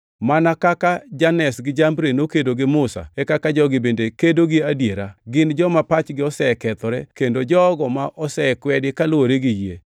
Mana kaka Janes gi Jambre nokedo gi Musa e kaka jogi bende kedo gi adiera, gin joma pachgi osekethore kendo jogo ma osekwedi kaluwore gi yie.